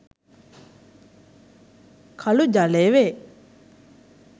කඵ ජලය වේ.